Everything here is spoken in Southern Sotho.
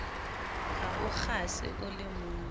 ha o kgase o lemong